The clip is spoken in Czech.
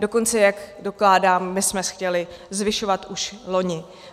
Dokonce, jak dokládám, my jsme chtěli zvyšovat už loni.